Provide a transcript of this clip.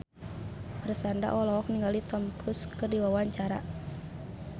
Marshanda olohok ningali Tom Cruise keur diwawancara